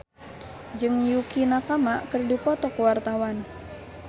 Ibrahim Khalil Alkatiri jeung Yukie Nakama keur dipoto ku wartawan